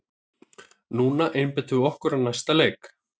Núna einbeitum við okkur að næsta leik!